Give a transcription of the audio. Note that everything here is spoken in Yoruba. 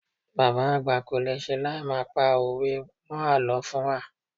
Bàbá àgbà kolese láì má pa òwe mó àlọ́ fún wa.